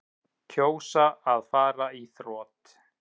Kjósa að fara í þrot